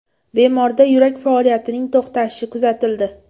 Bemorda yurak faoliyatining to‘xtashi kuzatildi.